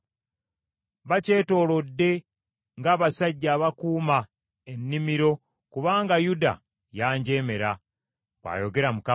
Bakyetoolodde ng’abasajja abakuuma ennimiro kubanga Yuda yanjeemera,’ ” bw’ayogera Mukama .